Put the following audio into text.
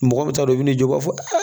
Mɔgɔ min t'a dɔn i bɛ na jɔ o b'a fɔ